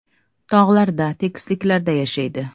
Tog‘larda, tekisliklarda yashaydi.